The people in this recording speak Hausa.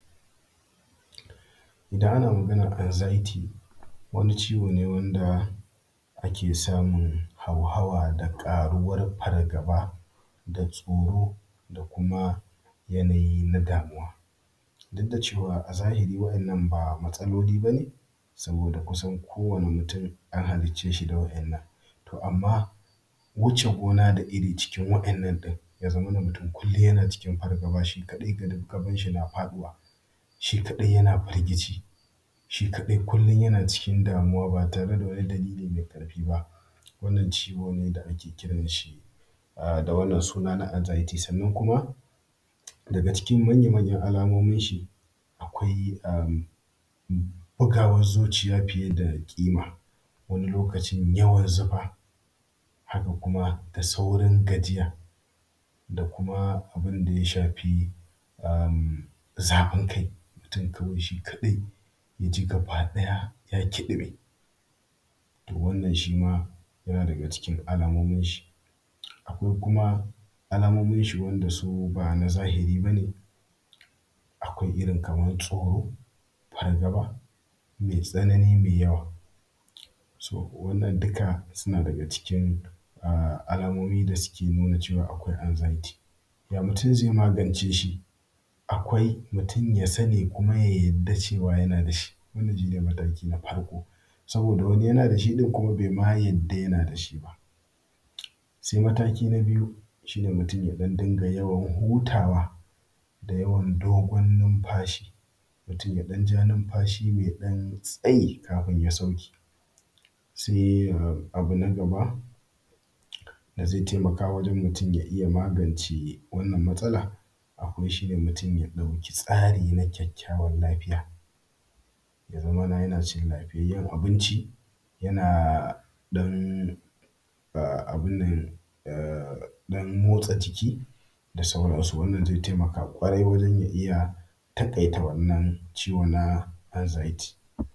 Idan ana magannan anxiety, wani ciwo ne wanda a ke samun hauhawa da ƙaruwar fargaba, da tsoro da kuma yanayi na damuwa. Duk da cewa a zahiri wa’innan ba matsaloli bane saboda kusan kowane mutum an halicce shi da wa’innan. To amman wuce gona da iri cikin wa’innan ɗin ya zamana mutum kullum yana cikin fargaba shi kadai gaban shi na faɗuwa, shi kaɗai yana firgici, shi kaɗai kullum yana cikin damuwa ba tare da wani dalili mai ƙarfi ba. Wannan ciwo ne da ake kiran shi da wannan suna na anxiety. Sannan kuma daga cikin manya manyan alamomin shi akwai bugawan zuciya fiye da ƙima, wani lokacin yawan zufa, haka kuma da saurin gajiya, da kuma abun da ya shafi zafin kai. Mutum kawai shi kadai ya ji gaba ɗaya ya kiɗime. To wannan shi ma yana daga cikin alamomin shi. Akwai kuma alamomin shi wanda su ba na zahiri ba ne, akwai irin kaman tsoro, fargaba mai tsanani, mai yawa, so wannan duka suna daga cikin alamomin da suke nuna cewa akwai anxiety. Ya mutum zai magance shi? Akwai mutum ya sani kuma ya yarda cewa yana da shi. Wannan shine mataki na farko saboda wani yana da shi ɗin kuma bai ma yarda yana da shi ba. Sai mataki na biyu shi ne mutum ya dinga yawan hutawa, da yawan dogon nunfashi, mutum ya ɗan ja numfashi mai ɗan tsayi kafin ya sauke. Sai abu na gaba da zai taimaka wajen mutum ya iya magance wannan matsalar akwai shine mutum ya ɗauki tsari na kyakkyawan lafiya, ya zamana yana cin lafiyayyan abinci, don abun nan ɗan motsa jiki, da sauransu. Wannan zai taimaka ƙwarai wajan ya iya taƙaita wannan ciwo na anxiety.